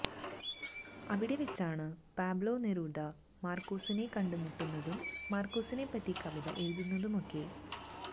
അവിടെ വെച്ചാണ് Pablo Neruda മാർക്കേസിനെ കണ്ടുമുട്ടുന്നതും മാർക്കേസിനെപ്പറ്റി കവിത എഴുതുന്നതുമൊക്കെ